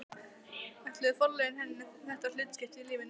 Ætluðu forlögin henni þetta hlutskipti í lífinu?